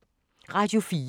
Radio 4